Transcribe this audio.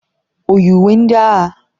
O yi uwe ndị agha?